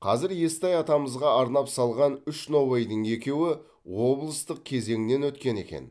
қазір естай атамызға арнап салған үш нобайдың екеуі облыстық кезеңнен өткен екен